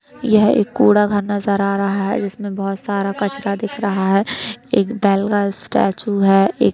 एक कूड़ा घर नजर आ रहा है जिसमें बोहोत सारा कचरा दिख रहा है। एक बैल का स्टैचू है। एक --